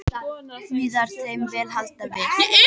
Víða er þeim vel haldið við.